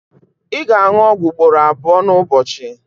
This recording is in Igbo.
ị ga-aṅụ ọgwụ ugboro abụọ n'ụbọchị